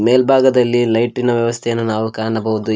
ಮೇಲ್ಭಾಗದಲ್ಲಿ ಲೈಟಿನ ವ್ಯವಸ್ಥೆಯನ್ನು ನಾವು ಕಾಣಬಹುದು ಈ--